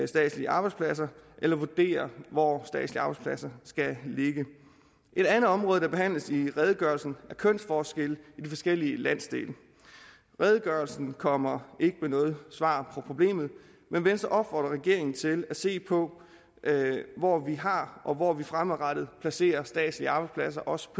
statslige arbejdspladser eller vurderer hvor statslige arbejdspladser skal ligge et andet område der behandles i redegørelsen er kønsforskelle i de forskellige landsdele redegørelsen kommer ikke med noget svar på problemet men venstre opfordrer regeringen til at se på hvor vi har og hvor vi fremadrettet placerer statslige arbejdspladser også